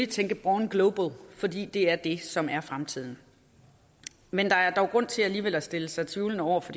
tænke born global fordi det er det som er fremtiden men der er dog grund til alligevel at stille sig tvivlende over for